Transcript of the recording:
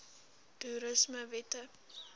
toerismewette